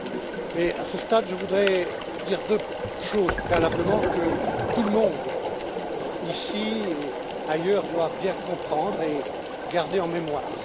Mais à ce stade, je voudrais dire deux choses, préalablement, que tout le monde, ici et ailleurs, doit bien comprendre et garder en mémoire.